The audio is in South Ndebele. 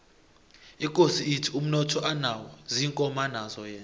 ikosi ithi umnotho anawo ziinkomo anazo yena